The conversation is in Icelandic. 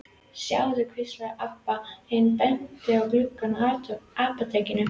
Sjáðu, hvíslaði Abba hin og benti á gluggana á apótekinu.